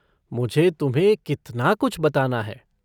मुझे तुम्हें कितना कुछ बताना है।